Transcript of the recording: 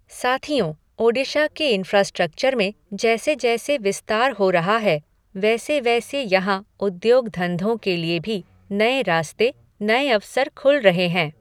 साथियों, ओडिशा के इंफ़्रास्ट्रक्चर में जैसे जैसे विस्तार हो रहा है वैसे वैसे यहाँ उद्योग धंधों के लिए भी नये रास्ते, नये अवसर खुल रहे हैं।